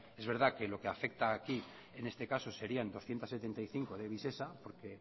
es verdad que lo que afecta aquí en este caso sería doscientos setenta y cinco de visesa porque